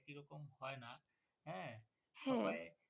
হ্যা।